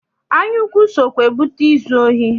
Anyaukwu sokwa ebute izu ohi.